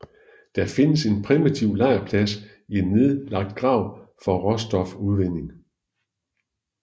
Der findes en primitiv lejrplads i en nedlagt grav fra råstofudvinding